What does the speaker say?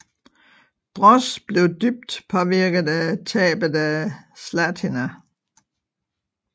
Broz blev dybt påvirket af tabet af Zlatina